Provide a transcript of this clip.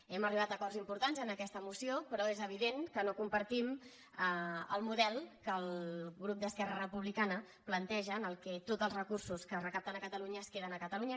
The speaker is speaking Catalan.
hem arribat a acords impor·tants en aquesta moció però és evident que no com·partim el model que el grup d’esquerra republicana planteja en el qual tots els recursos que es recapten a catalunya es queden a catalunya